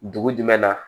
Dugu jumɛn na